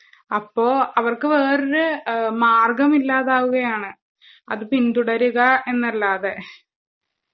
അപ്പോ അവർക്ക് വേറൊരു മാർഗ്ഗമില്ലാതാവുകയാണ്. അത് പിന്തുടരുകാഎന്നല്ലാതെ.